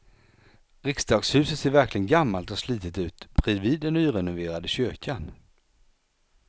Riksdagshuset ser verkligen gammalt och slitet ut bredvid den nyrenoverade kyrkan.